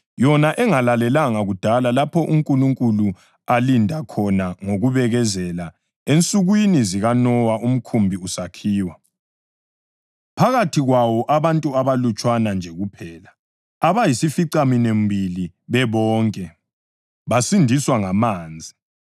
engalalelanga kudala lapho uNkulunkulu alinda khona ngokubekezela ensukwini zikaNowa umkhumbi usakhiwa. Phakathi kwawo abantu abalutshwana nje kuphela, abayisificaminwembili bebonke, basindiswa ngamanzi,